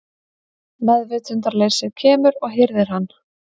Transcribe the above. Meðvitundarleysið kemur og hirðir hann.